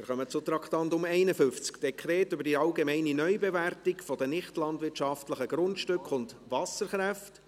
Wir kommen zum Traktandum 51, Dekret über die allgemeine Neubewertung der nichtlandwirtschaftlichen Grundstücke und Wasserkräfte